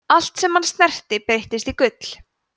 allt sem hann snerti breyttist í gull